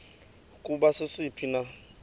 ukuba sisiphi na